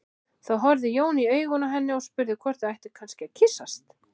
Þá horfði Jón í augun á henni og spurði hvort þau ættu kannski að kyssast.